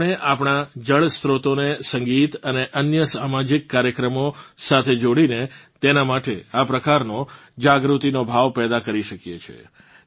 આપણે આપણાં જળસ્ત્રોતોને સંગીત અને અન્ય સામાજિક કાર્યક્રમો સાથે જોડીને તેનાં માટે આ પ્રકારનો જાગૃતિનો ભાવ પૈદા કરી શકીએ છીએ